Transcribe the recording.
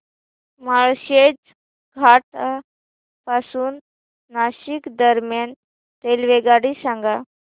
माळशेज घाटा पासून नाशिक दरम्यान रेल्वेगाडी सांगा